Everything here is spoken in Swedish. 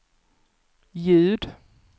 ljud